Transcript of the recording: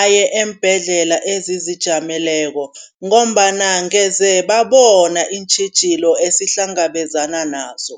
aye eembhedlela ezizijameleko ngombana, ngeze babona iintjhijilo esihlangabezana nazo.